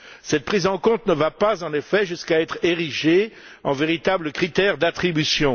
Cette prise en compte ne va pas, en effet, jusqu'à être érigée en véritable critère d'attribution.